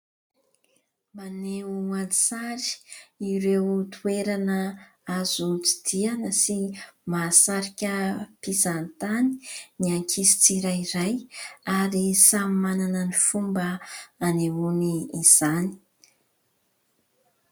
Maneho an-tsary ireo toerana azo tsidihana sy mahasarika mpizahatany ny ankizy tsirairay ary samy manana ny fomba nanehony izany.